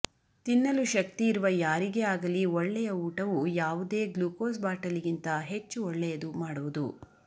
ತಿನ್ನಲು ಶಕ್ತಿ ಇರುವ ಯಾರಿಗೇ ಆಗಲಿ ಒಳ್ಳೆಯ ಊಟವು ಯಾವುದೇ ಗ್ಲುಕೋಸ್ ಬಾಟಲಿಗಿಂತ ಹೆಚ್ಚು ಒಳ್ಳೆಯದು ಮಾಡುವುದು